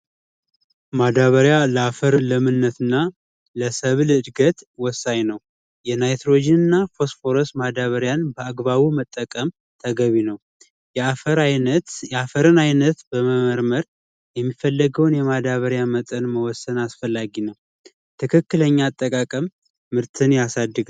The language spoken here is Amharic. ማዳበሪያ ለአፈር ለምነት እና ለሰብል እድገት ወሳኝ ነው። የናይትሮጂን እና ፎስፈረስ ማዳበሪያን በአግባቡ መጠቀም ተገቢ ነው። የአፈርን አይነት በመመርመር የሚፈለገውን የማዳበሪያ መጠን መወሰን አስፈላጊ ነው። ትክክለኛ አጠቃቀም ምርትን ያሳድጋል።